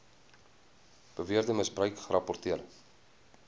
beweerde misbruik gerapporteer